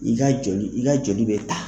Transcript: I ka joli i ka joli bɛ ta.